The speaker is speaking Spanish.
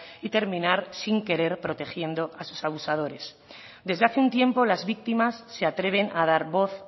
y terminar sin querer protegiendo a sus abusadores desde hace un tiempo las víctimas se atreven a dar voz